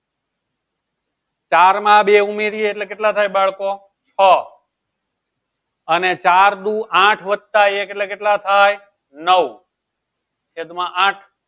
ચારમાં બે ઉમેરી એટલે કેટલા થાય બાળકો? છ અને ચાર દુ આઠ વત્તા એક એટલે કેટલા થાય? નવ એક માં આઠ